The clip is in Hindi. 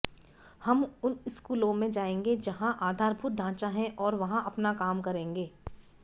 हम उन स्कूलों में जाएंगे जहां आधारभूत ढांचा है और वहां अपना काम करेंगे